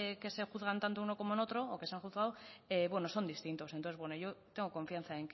que se juzgan tanto en uno como en otro o que se han juzgado son distintos entonces yo tengo confianza